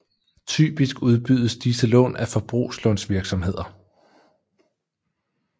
Typisk udbydes disse lån af forbrugslånsvirksomheder